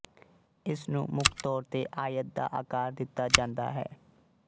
ਇਸਨੂੰ ਮੁੱਖ ਤੌਰ ਤੇ ਆਇਤ ਦਾ ਆਕਾਰ ਦਿੱਤਾ ਜਾਂਦਾ ਹੈ